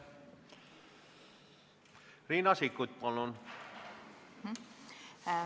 Riina Sikkut, palun!